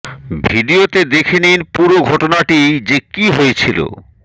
video তে দেখে নিন পূরো ঘটনাটি যে কি হয়েছিলো